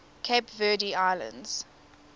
cape verde islands